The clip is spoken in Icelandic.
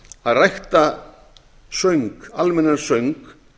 að rækta söng almennan söng